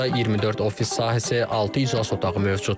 Burda 24 ofis sahəsi, altı iclas otağı mövcuddur.